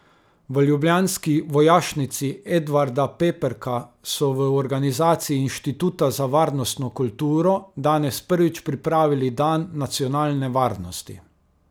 V ljubljanski Vojašnici Edvarda Peperka so v organizaciji Inštituta za varnostno kulturo danes prvič pripravili dan nacionalne varnosti.